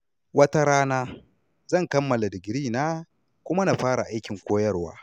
Wata rana, zan kammala digirina kuma na fara aikin koyarwa.